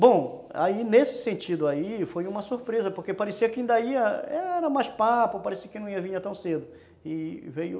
Bom, aí nesse sentido aí foi uma surpresa porque parecia que ainda ia era mais papo, parecia que não ia vir tão cedo e veio